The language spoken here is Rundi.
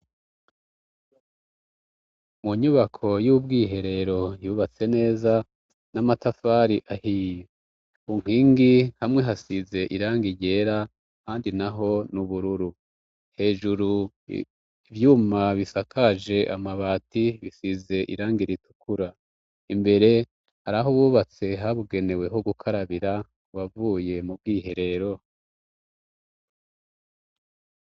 Munyubako y'ubwiherero yubatse neza n'amatafari ahi unkwingi hamwe hasize iranga iryera handi na ho n'ubururu hejuru ivyuma bisakaje amabati bisize iranga ritukura imbe e har aho uwubatse habugeneweho gukarabira wavuye mu bwihe rero.